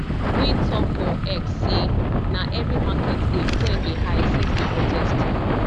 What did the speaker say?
wey tok for x say na every market day fuel dey high since di protest